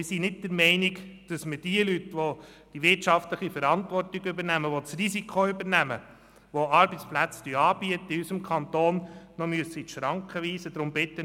Wir sind nicht der Meinung, dass wir die Leute, welche die wirtschaftliche Verantwortung übernehmen, die das Risiko übernehmen, die Arbeitsplätze in unserem Kanton anbieten, noch in die Schranken weisen müssen.